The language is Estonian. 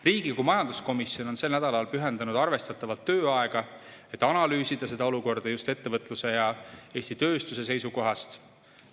Riigikogu majanduskomisjon on sel nädalal pühendanud arvestatavalt tööaega, et analüüsida seda olukorda just ettevõtluse ja Eesti tööstuse seisukohast.